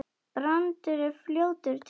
Brandur er fljótur til svars.